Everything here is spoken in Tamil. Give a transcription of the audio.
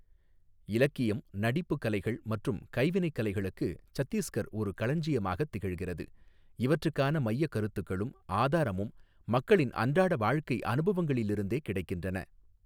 இலக்கியம், நடிப்புக் கலைகள் மற்றும் கைவினைக் கலைகளுக்கு சத்தீஸ்கர் ஒரு களஞ்சியமாகத் திகழ்கிறது, இவற்றுக்கான மையக் கருத்துக்களும் ஆதாரமும் மக்களின் அன்றாட வாழ்க்கை அனுபவங்களிலிருந்தே கிடைக்கின்றன.